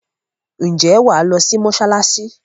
Ǹjẹ́ wa lọ sí mọsalasi